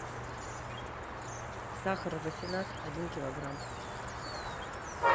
сахар рафинад один килограмм